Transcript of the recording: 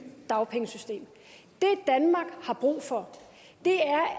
dagpengesystem det danmark har brug for